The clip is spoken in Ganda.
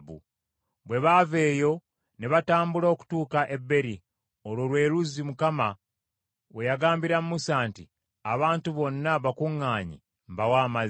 Bwe baava eyo ne batambula okutuuka e Beeri, olwo lwe luzzi Mukama we yagambira Musa nti, “Abantu bonna bakuŋŋaanye, mbawe amazzi.”